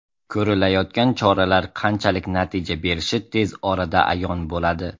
Ko‘rilayotgan choralar qanchalik natija berishi tez orada ayon bo‘ladi.